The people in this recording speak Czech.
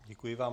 Děkuji vám.